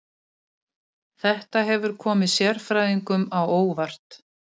Þetta hefur komið sérfræðingum á óvart